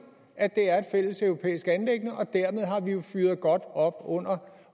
at det er et fælleseuropæisk anliggende og dermed har vi jo fyret godt op under